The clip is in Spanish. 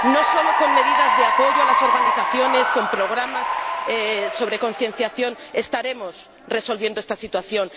Solo con medidas de apoyo a las organizaciones, con programas de concienciación no vamos a resolver esta situación.